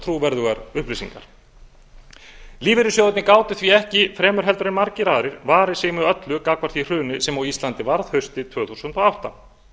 trúverðugar upplýsingar lífeyrissjóðirnir gátu því ekki fremur heldur en margir aðrir varið sig með öllu gagnvart því hruni sem á íslandi varð haustið tvö þúsund og átta